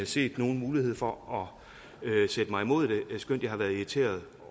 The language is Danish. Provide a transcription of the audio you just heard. set nogen mulighed for at sætte mig imod det skønt jeg har været irriteret